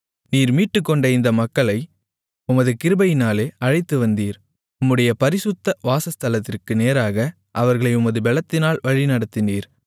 நீர் மீட்டுக்கொண்ட இந்த மக்களை உமது கிருபையினாலே அழைத்து வந்தீர் உம்முடைய பரிசுத்த வாசஸ்தலத்திற்கு நேராக அவர்களை உமது பெலத்தினால் வழிநடத்தினீர்